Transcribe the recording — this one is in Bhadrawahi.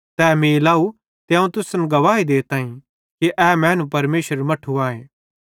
तै मीं लाव त अवं तुसन गवाही देताईं कि ए मैनू परमेशरेरू मट्ठू आए